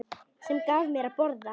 Sem gaf mér að borða.